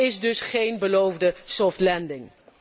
Dat is dus geen beloofde soft landing